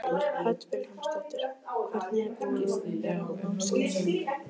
Hödd Vilhjálmsdóttir: Hvernig er búið að vera á námskeiðinu?